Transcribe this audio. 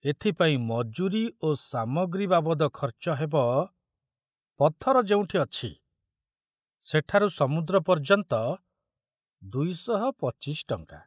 ଏଥିପାଇଁ ମଜୁରୀ ଓ ସାମଗ୍ରୀ ବାବଦ ଖର୍ଚ୍ଚ ହେବ, ପଥର ଯେଉଁଠି ଅଛି, ସେଠାରୁ ସମୁଦ୍ର ପର୍ଯ୍ୟନ୍ତ, ଦୁଇ ଶହ ପଚିଶି ଟଙ୍କା।